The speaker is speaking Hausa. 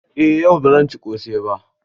Eh, yau ba zan ci ƙosai ba